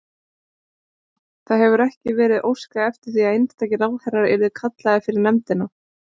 Þóra: Það hefur ekki verið óskað eftir því að einstakir ráðherrar yrðu kallaðir fyrir nefndina?